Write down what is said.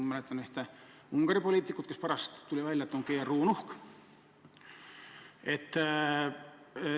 Ma mäletan ühte Ungari poliitikut, kelle kohta tuli pärast välja, et ta on GRU nuhk.